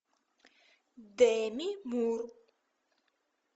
деми мур